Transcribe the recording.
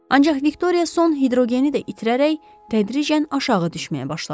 Ancaq Viktoriya son hidrogeni də itirərək tədricən aşağı düşməyə başladı.